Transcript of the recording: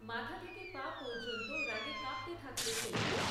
মাথা থেকে পা পর্যন্ত রাগে কাঁপতে থাকল সে।